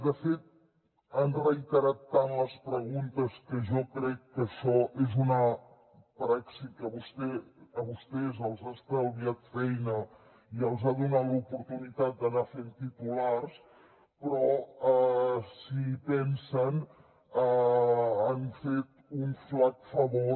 de fet han reiterat tant les preguntes que jo crec que això és una praxi que a vostès els ha estalviat feina i els ha donat l’oportunitat d’anar fent titulars però si hi pensen han fet un magre favor